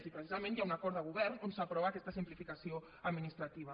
i precisament hi ha un acord de govern on s’aprova aquesta simplificació administrativa